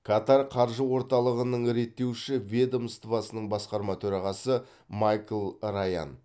катар қаржы орталығының реттеуші ведомствосының басқарма төрағасы майкл раян